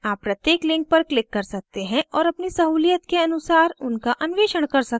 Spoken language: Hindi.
आप प्रत्येक link पर click कर सकते हैं और अपनी सहूलियत के अनुसार उनका अन्वेषण कर सकते हैं